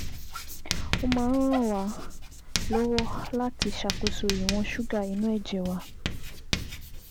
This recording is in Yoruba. Ó máa ń ràn wá lọ́wọ́ láti ṣàkóso ìwọ̀n ṣúgà inú ẹ̀jẹ̀ wa